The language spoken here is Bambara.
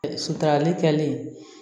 Sutarali kɛlen